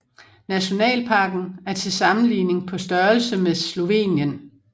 Nationalparken er til sammenligning på størrelse med Slovenien